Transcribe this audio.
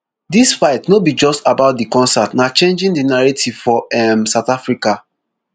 dis fight no be just about di concert na changing di narrative for um south africa